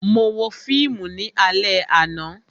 Mo wo fíìmù ní alẹ àná